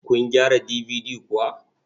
Kun gyara DVD kuwa?